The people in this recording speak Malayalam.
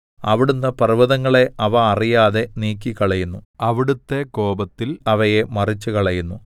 അവിടുന്ന് പർവ്വതങ്ങളെ അവ അറിയാതെ നീക്കിക്കളയുന്നു അവിടുത്തെ കോപത്തിൽ അവയെ മറിച്ചുകളയുന്നു